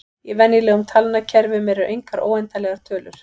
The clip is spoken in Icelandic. Í venjulegum talnakerfum eru engar óendanlegar tölur.